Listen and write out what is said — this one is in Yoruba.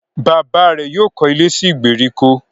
Bàbá rẹ̀ yóò kọ́ ilé sí ìgbèríko